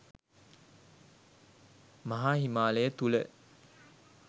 මහා හිමාලය තුළ